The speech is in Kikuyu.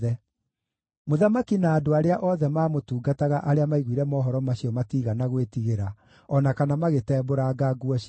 Mũthamaki na andũ arĩa othe maamũtungataga arĩa maiguire mohoro macio matiigana gwĩtigĩra, o na kana magĩtembũranga nguo ciao.